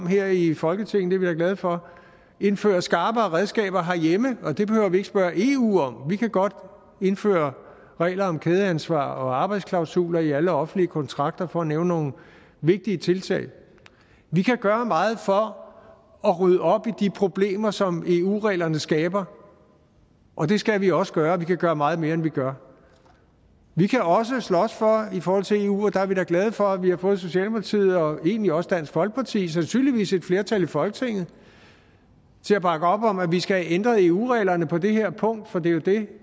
her i folketinget er vi da glade for indføre skarpere redskaber herhjemme og det behøver vi ikke at spørge eu om vi kan godt indføre regler om kædeansvar og arbejdsklausuler i alle offentlige kontrakter for at nævne nogle vigtige tiltag vi kan gøre meget for at rydde op i de problemer som eu reglerne skaber og det skal vi også gøre vi kan gøre meget mere end vi gør vi kan også slås for i forhold til eu og der er vi da glade for at vi har fået socialdemokratiet og egentlig også dansk folkeparti sandsynligvis flertal i folketinget til at bakke op om at vi skal have ændret eu reglerne på det her punkt for det er jo det